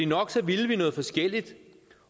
nok ville vi noget forskelligt